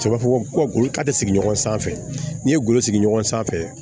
Cɛ b'a fɔ ko a tɛ sigi ɲɔgɔn sanfɛ n'i ye golo sigi ɲɔgɔn sanfɛ